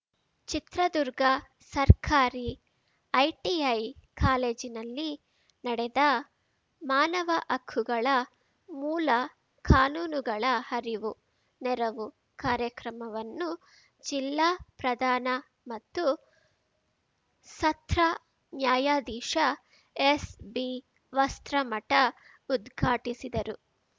ಚಿತ್ರದುರ್ಗ ಸರ್ಕಾರಿ ಐಟಿಐ ಕಾಲೇಜಿನಲ್ಲಿ ನಡೆದ ಮಾನವ ಹಕ್ಕುಗಳ ಮೂಲ ಕಾನೂನುಗಳ ಅರಿವುನೆರವು ಕಾರ್ಯಕ್ರಮವನ್ನು ಜಿಲ್ಲಾ ಪ್ರಧಾನ ಮತ್ತು ಸತ್ರ ನ್ಯಾಯಾಧೀಶ ಎಸ್‌ಬಿವಸ್ತ್ರಮಠ ಉದ್ಘಾಟಿಸಿದರು